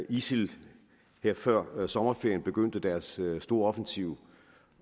isil her før sommerferien begyndte deres store offensiv